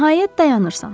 Nəhayət dayanırsan.